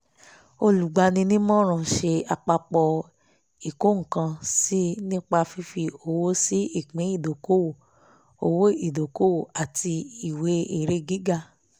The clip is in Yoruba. olùgbani-nímọ̀ràn ṣe àpapọ̀ ìkó-nǹkan-sí nípa fífi owó sí ìpín ìdókòwò owó ìdókòwò àti ìwé èrè gíga